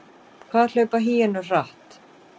Hvað hlaupa hýenur hratt?